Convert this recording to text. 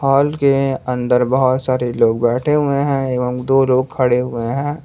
हाल के अंदर बहोत सारे लोग बैठे हुए हैं एवं दो लोग खड़े हुए हैं।